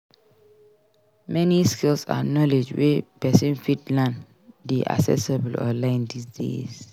Many skills and knowledge wey persin fit learn de accessible online dis days